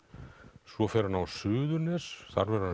svo fer hann á Suðurnes þar verður